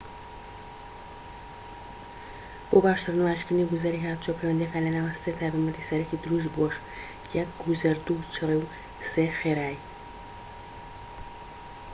بۆ باشتر نمایشکردنی گوزەری هاتووچۆ، پەیوەندیەكان لە نێوان سێ تایبەتمەندی سەرەكی دروست بووەژ: 1 گوزەر، 2 چڕی، و 3 خێرایی